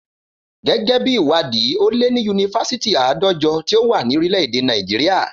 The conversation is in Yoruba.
Gẹ́gẹ́ bí ìwádìí, ó lé ní yunifasiti àádọ́jọ tí ó wà ní orílè èdè Nàìjíríà